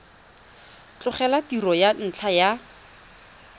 tlogela tiro ka ntlha ya